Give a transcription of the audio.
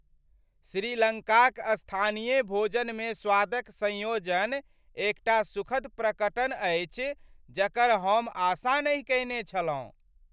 श्रीलंकाक स्थानीय भोजनमे स्वादक संयोजन एकटा सुखद प्रकटन अछि जकर हम आशा नहि कयने छलहुँ।